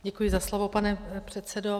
Děkuji za slovo, pane předsedo.